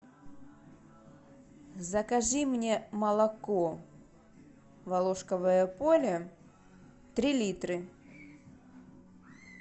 закажи мне молоко волошковое поле три литра